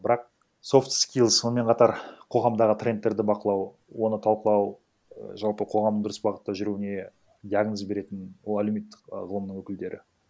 бірақ софт скилз сонымен қатар қоғамдағы трендтерді бақылау оны талқылау і жалпы қоғамның дұрыс бағытта жүруіне диагноз беретін ол әлеуметтік і ғылымның өкілдері